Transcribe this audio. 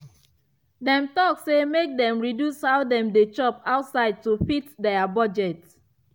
dem talk say make dem reduce how dem dey chop outside to fit their budget.